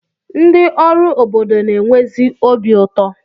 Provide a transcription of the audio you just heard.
Ndị ọrụ obodo na-enwezi obi ụtọ.